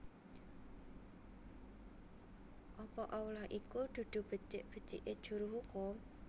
Apa Allah iku dudu becik becike juru hukum